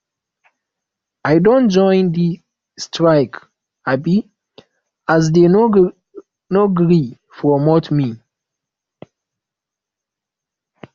i don join di strike um as dey no gree promote me